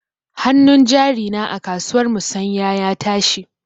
Hanun jari na a kasuwar musanya ya tashi.